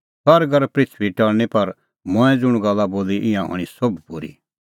सरग और पृथूई टल़णीं पर मंऐं ज़ुंण गल्ला बोली ईंयां हणीं सोभ पूरी